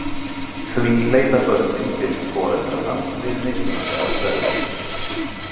Því leita börnin til foreldranna við mismunandi aðstæður.